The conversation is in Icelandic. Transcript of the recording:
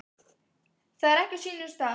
Það er ekki á sínum stað.